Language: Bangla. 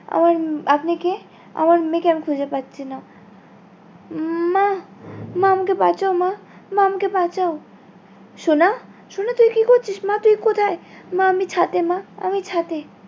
আমার উম আপনি কে? আমার মেয়ে কে আমি খুঁজে পাচ্ছি না উম মা মা আমাকে বাঁচাও মা মা আমাকে বাঁচাও সোনা সোনা তুই কি করছিস মা তুই কোথায় মা আমি ছাদে মা আমি ছাদে